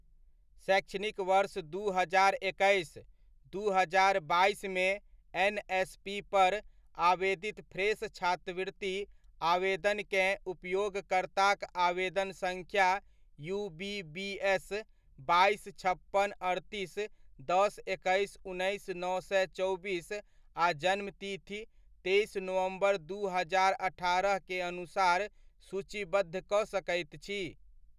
शैक्षणिक वर्ष दू हजार एकैस, दू हजार बाइसमे एनएसपी पर आवेदित फ्रेश छात्रवृति आवेदनककेँ उपयोगकर्ताक आवेदन सङ्ख्या यूबीबीस, बाइस, छप्पन, अड़तीस, दस, एक्कैस, उन्नैस, नओ सए चौबीस आ जन्म तिथि तेइस नवम्बर सँ दू हजार अठारह के अनुसार सूचीबद्ध कऽ सकैत छी।